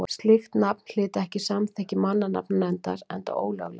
slíkt nafn hlyti ekki samþykki mannanafnanefndar enda ólöglegt